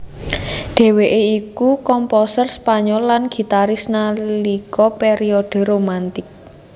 Dheweké iku komposer Spanyol lan gitaris nalika periode Romantic